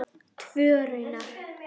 Tvö raunar.